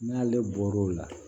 N'ale bɔr'o la